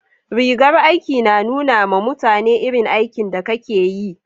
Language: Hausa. rigar aiki na nuna ma mutane irin aikin da Ka ke yi